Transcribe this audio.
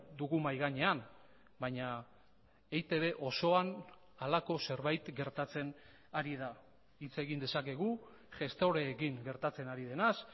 dugu mahai gainean baina eitb osoan halako zerbait gertatzen ari da hitz egin dezakegu gestoreekin gertatzen ari denaz